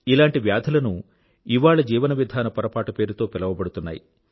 ఇలాంటి వ్యాధులను ఇవాళ జీవన విధాన పొరపాటు పేరుతో పిలవబడుతున్నాయి